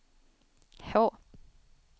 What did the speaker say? H